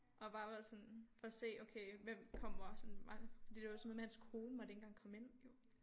Og bare var sådan for at se okay hvem kommer bare sådan var fordi det var sådan noget med hans kone måtte ikke engang komme ind jo